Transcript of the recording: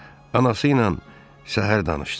Anası ilə səhər danışdım.